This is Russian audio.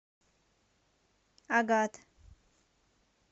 агат